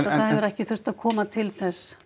það hefur ekki þurft að koma til þess